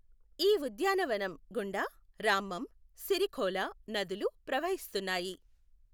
ఈ ఉద్యానవనం గుండా రామ్మం, సిరిఖోలా నదులు ప్రవహిస్తున్నాయి.